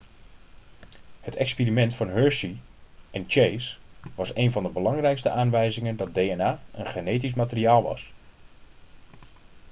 het experiment van hershey en chase was een van de belangrijkste aanwijzingen dat dna een genetisch materiaal was